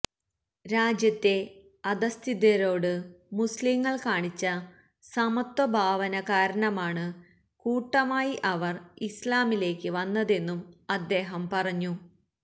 രാജ്യത്തെ അധഃസ്ഥിതരോട് മുസ്ലിംകൾ കാണിച്ച സമത്വ ഭാവനകാരണമാണ് കൂട്ടമായി അവർ ഇസ്ലാമിലേക്ക് വന്നതെന്നും അദ്ദേഹം പറഞ്ഞു